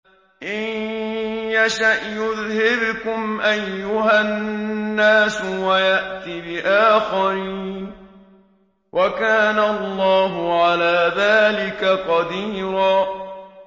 إِن يَشَأْ يُذْهِبْكُمْ أَيُّهَا النَّاسُ وَيَأْتِ بِآخَرِينَ ۚ وَكَانَ اللَّهُ عَلَىٰ ذَٰلِكَ قَدِيرًا